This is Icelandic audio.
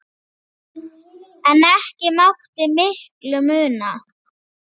En ekki mátti miklu muna.